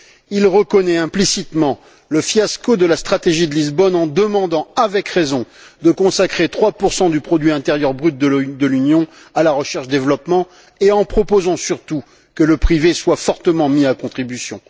Il reconnaît implicitement le fiasco de la stratégie de Lisbonne en demandant avec raison de consacrer 3 du produit intérieur brut de l'Union à la recherche et au développement, et en proposant surtout que le privé soit fortement mis à contribution.